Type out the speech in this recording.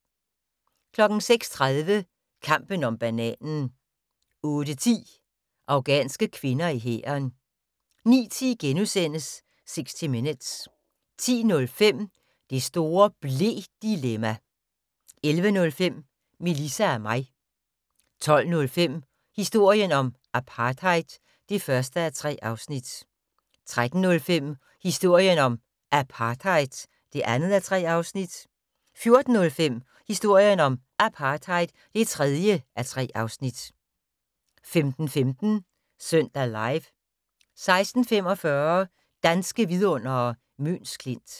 06:30: Kampen om bananen 08:10: Afghanske kvinder i hæren 09:10: 60 Minutes * 10:05: Det store ble-dilemma! 11:05: Melissa og mig 12:05: Historien om apartheid (1:3) 13:05: Historien om Apartheid (2:3) 14:05: Historien om Apartheid (3:3) 15:15: Søndag Live 16:45: Danske vidundere: Møns Klint